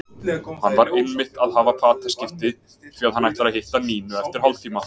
Hann var einmitt að hafa fataskipti því að hann ætlar að hitta Nínu eftir hálftíma.